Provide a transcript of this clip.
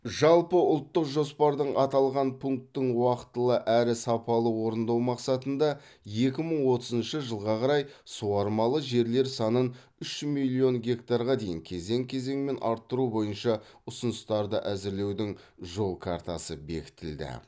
жалпыұлттық жоспардың аталған пунктін уақытылы әрі сапалы орындау мақсатында екі мың отызыншы жылға қарай суармалы жерлер санын үш миллион гектарға дейін кезең кезеңмен арттыру бойынша ұсыныстарды әзірлеудің жол картасы бекітілді